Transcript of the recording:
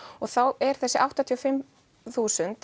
þá er þessi áttatíu og fimm þúsund